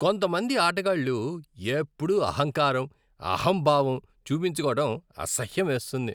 కొంతమంది ఆటగాళ్ళు ఎప్పుడూ అహంకారం, అహంభావం చూపించుకోవడం అసహ్యమేస్తుంది.